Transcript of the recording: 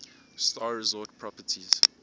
star resort properties